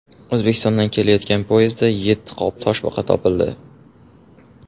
O‘zbekistondan kelayotgan poyezdda yetti qop toshbaqa topildi.